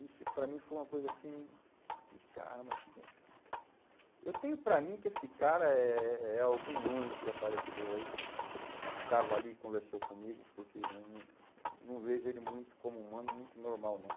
Isso, para mim, foi uma coisa assim... Eu falei, cara, mas que... Eu tenho para mim que esse cara é é algum anjo que apareceu aí, que estava ali e conversou comigo, porque né, eu não, não vejo ele muito como humano, muito normal, não.